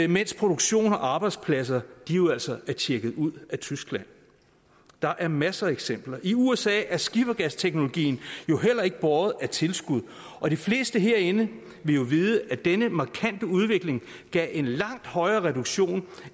mens produktion og arbejdspladser jo altså er tjekket ud af tyskland der er masser af eksempler i usa er skifergasteknologien jo heller ikke båret af tilskud og de fleste herinde vil vide at denne markante udvikling gav en langt højere reduktion